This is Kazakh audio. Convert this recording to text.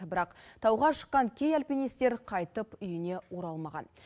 бірақ тауға шыққан кей альпинистер қайтып үйіне оралмаған